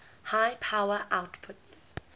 high power outputs